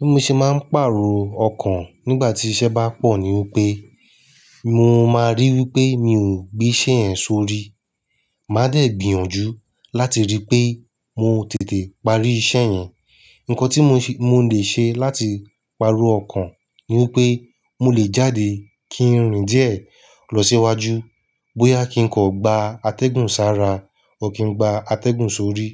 Bí mo ṣe máa ń pàrọ̀ ọkàn nígbà tí iṣẹ́ bá pọ̀ ní wípé, mo máa ríi wípé mi ò gbé iṣẹ́ yẹn sórí. Máa dẹ̀ gbìyànjú láti ríi pé mo tètè parí iṣẹ́ yẹn. Ǹkọ́ tí mo lè ṣe láti pàrọ̀ ọkàn ni wípé mo lè jáde kí n rìn díẹ̀ lọ sí iwájú bóyá kí n kọ̀ gba atẹ́gùn sára o kí n gba atẹ́gùn sórí.